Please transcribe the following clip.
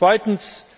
Zweitens